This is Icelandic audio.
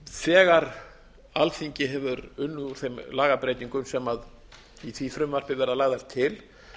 þegar alþingi hefur unnið úr þeim lagabreytingum á í því frumvarpi verða lagðar til